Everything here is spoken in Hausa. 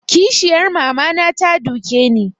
Kishiyar mama na ta duke ni